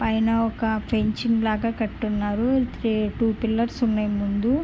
పైన ఒక పించింగ్ లాగా కట్టున్నారు. త్రి టూ టూ పిల్లర్స్ ఉన్నాయి ముందు.